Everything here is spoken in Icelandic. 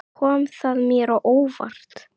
Kom það mér að óvart?